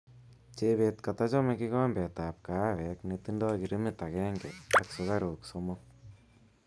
Chebet katachome kikombetab kahawek netindoi girimit agenge ak sukaruk somok